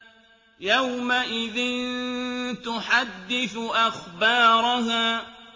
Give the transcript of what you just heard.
يَوْمَئِذٍ تُحَدِّثُ أَخْبَارَهَا